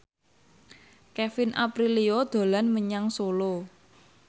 Kevin Aprilio dolan menyang Solo